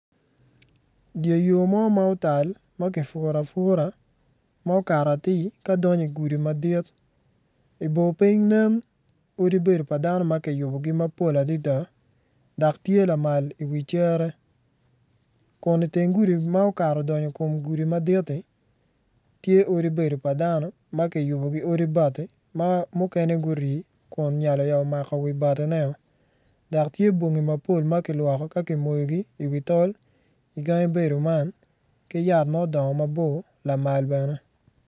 Dye yo mo ma otal ma kipuro apura ma okato atir ka donyo igudi madit ibor piny odi bedo pa dano ma kiyubogi mapol adada dok tye lamal iwi cere kun iteng gudi ma odonyo okato i gudi madt-ti, tye odi bedo pa dano ma kiyubo ki odi bati ma mukene gurii kun nyali oyabo mako wibatineo dok tye bongi mapol ma kilwoko ka kimoyogi iwi tol igangi bedo man ki yat ma odongo mabor lamal bene.